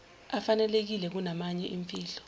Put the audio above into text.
afanelekile kunamanye imfihlo